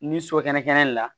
Ni so kɛnɛ kɛnɛ kɛnɛ le la